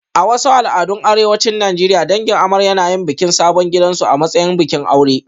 A wasu al'adun arewacin Najeriya, dangin amarya na yin bikin sabon gidansu a matsayin bikin aure